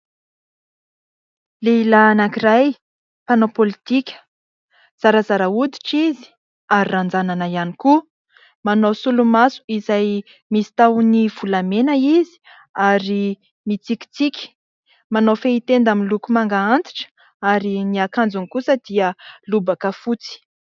Lehilahy anankiray, mpanao politika, zarazara hoditra izy ary ranjanana ihany koa. Manao solomaso izay misy tahony volamena izy ary mitsikitsiky. Manao fehitenda miloko manga antitra ary ny akanjony kosa dia lobaka fotsy.